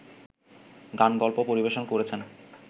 গানগল্প পরিবেশন করেছেন